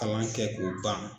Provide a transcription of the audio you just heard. Kalan kɛ k'o ban